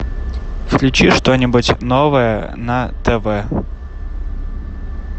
включи что нибудь новое на тв